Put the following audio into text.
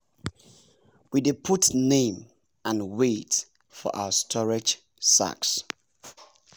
we dey put name and weight for our storage sacks.